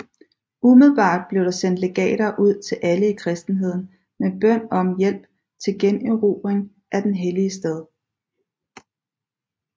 Umiddelbart blev der sendt legater ud til alle i kristenheden med bøn om hjælp til generobring af den hellige stad